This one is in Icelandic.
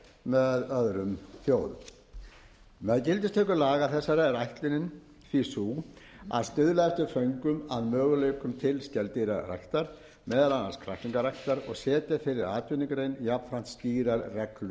hefur orðið á með öðrum þjóðum með gildistöku lag þessara er ætlunin því sú að stuðla eftir föngum að möguleikum til skeldýraræktar meðal annars kræklingaræktar og setja þeirri atvinnugrein jafnframt skýrar reglur